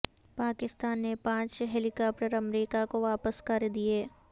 پاکستان نے پانچ helicopter امریکہ کو واپس کر دیے